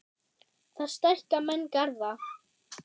Þar stækka menn garða.